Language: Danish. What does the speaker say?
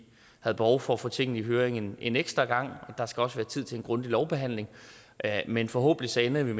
havde behov for at få tingene i høring en ekstra gang og der skal også være tid til en grundig lovbehandling men forhåbentlig ender vi